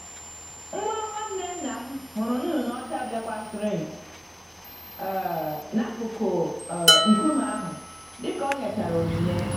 Nwa nwanne nnam hụrụ nnụnụ ọcha bekwasịrị um n'akụkụ um nkume ahụ, dika o nyechara onyinye.